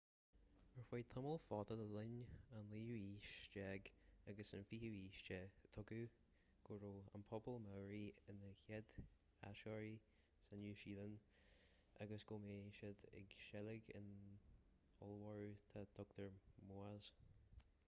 ar feadh tamall fada le linn an naoú haois déag agus an fichiú haois tuigeadh go raibh an pobal maori ina chéad áitritheoirí sa nua shéalainn agus go mbíodh siad ag seilg éin ollmhóra dá dtugtar moas